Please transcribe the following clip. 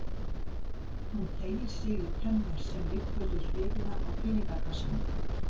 Hún teygir sig í penna sem liggur við hliðina á peningakassanum.